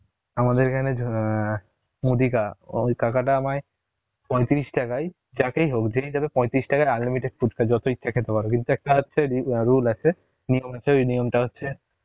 আমাদের এখানে অ্যাঁ, মুদি কা, ওই কাকা টা আমায় পঁয়ত্রিশ টাকায়, যাকেই হোক যেই যাবে পঁয়ত্রিশ টাকায় উন্লিমিতে ফুচকা যত ইচ্ছা খেতে পারো কিন্তু একটা আছে rule আছে, নিয়ম হচ্ছে ওই নিয়মটা হচ্ছে